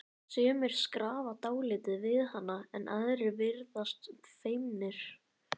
Sumir skrafa dálítið við hana en aðrir virðast feimnir.